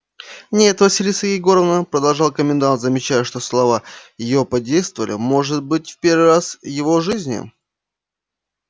нет василиса егоровна продолжал комендант замечая что слова его подействовали может быть в первый раз в его жизни